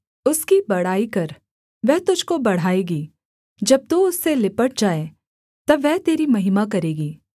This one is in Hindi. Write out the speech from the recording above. उसकी बड़ाई कर वह तुझको बढ़ाएगी जब तू उससे लिपट जाए तब वह तेरी महिमा करेगी